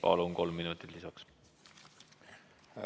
Palun, kolm minutit lisaks!